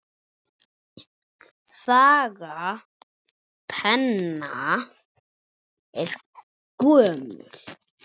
Saga penna er gömul.